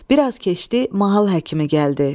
Bir az keçdi, mahal həkimi gəldi.